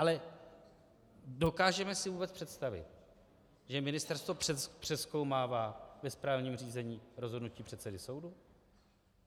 Ale dokážeme si vůbec představit, že ministerstvo přezkoumává ve správním řízení rozhodnutí předsedy soudu?